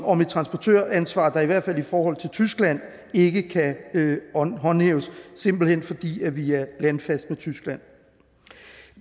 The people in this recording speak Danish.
om et transportøransvar der i hvert fald i forhold til tyskland ikke kan håndhæves simpelt hen fordi vi er landfast med tyskland